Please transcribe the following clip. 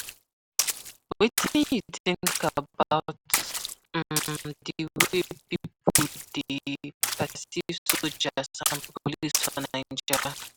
Wetin you think about um di way people dey perceive soldiers and police for Naija?